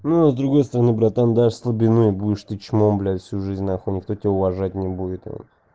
ну с другой стороны братан дашь слабину и будешь ты чмом блять всю жизнь нахуй никто тебя уважать не будет